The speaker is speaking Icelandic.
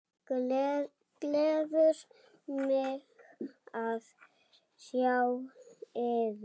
Gleður mig að sjá yður.